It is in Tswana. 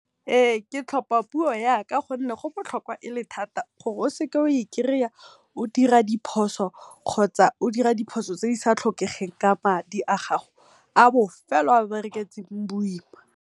Ee ke tlhopa puo gonne go botlhokwa e le thata gore o seka oa i kry-a o dira diphoso kgotsa o dira diphoso tse di sa tlhokeng ka madi a gago a bofelo o a bereketseng boima.